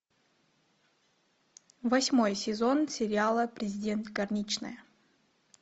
восьмой сезон сериала президент горничная